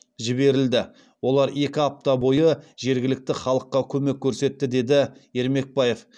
жіберілді олар екі апта бойы жергілікті халыққа көмек көрсетті деді ермекбаев